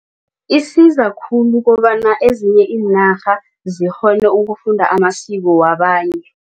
Isiza khulu kobana ezinye iinarha zikghone ukufunda amasiko wabanye.